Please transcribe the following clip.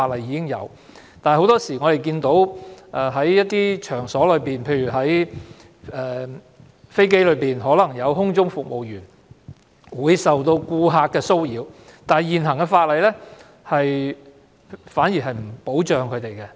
但是，很多時候在一些場所，例如在飛機上，空中服務員可能受到顧客騷擾，現行法例並沒有保障僱員。